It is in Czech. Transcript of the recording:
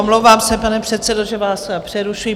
Omlouvám se, pane předsedo, že vás přerušuji.